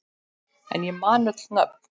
En ég man öll nöfn.